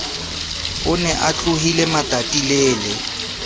o ne a tlohile matatilele